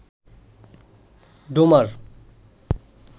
Domar